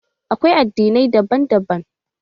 Akwai addinai daban daban.